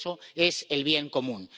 Eso es el bien común.